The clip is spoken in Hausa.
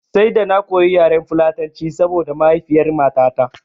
Sai da na koyo yaren fulatanci saboda mahaifiyar matata